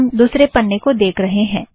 हम दुसरे पन्ने को देख रहें हैं